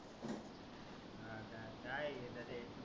काय आहे हे?